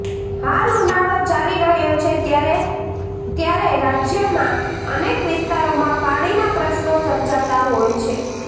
હાલ ઉનાળો ચાલી રહ્યો છે ત્યારે ત્યારે રાજ્યમાં અનેક વિસ્તારોમાં પાણીના પ્રશ્નો સર્જાતા હોય છે